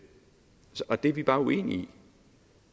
og det er vi bare uenige i